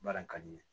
Baara in ka di n ye